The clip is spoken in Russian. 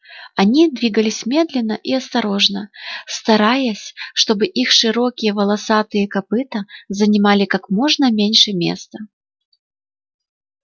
они двигались медленно и осторожно стараясь чтобы их широкие волосатые копыта занимали как можно меньше места